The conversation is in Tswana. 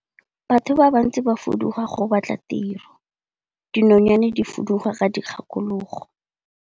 Batho ba bantsi ba fuduga go batla tiro, dinonyane di fuduga ka dikgakologo.